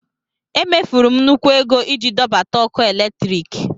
E mefuru m nnukwu ego iji dọbata ọkụ eletrik.